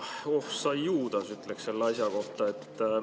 Oh sa juudas, ütleks selle asja kohta.